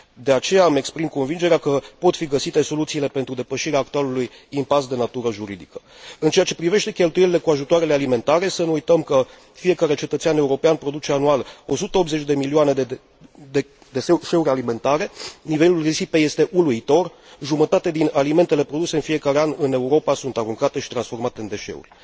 De aceea, îmi exprim convingerea că pot fi găsite soluțiile pentru depășirea actualului impas de natură juridică. În ceea ce privește cheltuielile cu ajutoarele alimentare, să nu uităm că fiecare cetățean european produce anual 180 de kilograme de deșeuri alimentare, nivelul risipei este uluitor, jumătate din alimentele produse în fiecare an în Europa sunt aruncate și transformate în deșeuri.